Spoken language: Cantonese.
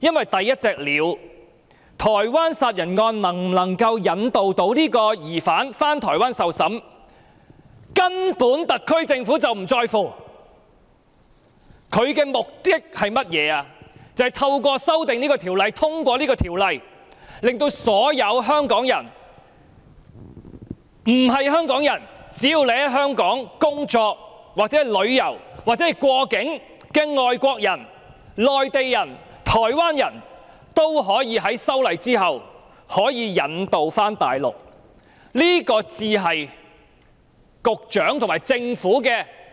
因為第一隻鳥，即台灣殺人案能否引渡該名疑犯返回台灣受審，特區政府根本並不在乎，政府的目的是通過《條例草案》，令所有香港人，或只要在香港工作、旅遊或過境的外國人、內地人及台灣人，日後可以被引渡到大陸，這才是局長和特區政府